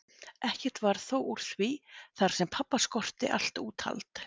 Ekkert varð þó úr því þar sem pabba skorti allt úthald.